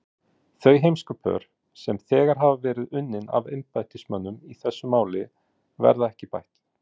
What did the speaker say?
Þau heimskupör, sem þegar hafa verið unnin af embættismönnum í þessu máli, verða ekki bætt.